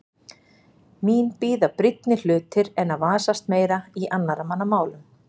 Mín bíða brýnni hlutir en að vasast meira í annarra manna málum.